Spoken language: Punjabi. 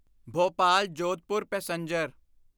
ਭੋਪਾਲ ਜੋਧਪੁਰ ਪੈਸੇਂਜਰ